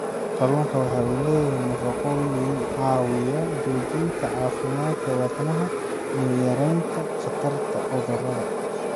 Kalluunku waxa uu leeyahay nafaqooyin caawiya xoojinta caafimaadka wadnaha iyo yaraynta khatarta cudurrada.